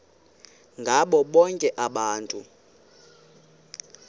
ngabo bonke abantu